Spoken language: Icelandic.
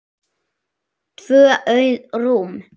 Tvö auð rúm.